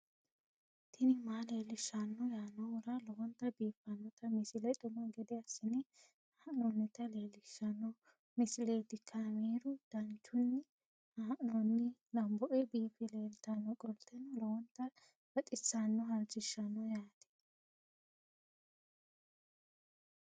tini maa leelishshanno yaannohura lowonta biiffanota misile xuma gede assine haa'noonnita leellishshanno misileeti kaameru danchunni haa'noonni lamboe biiffe leeeltannoqolten lowonta baxissannoe halchishshanno yaate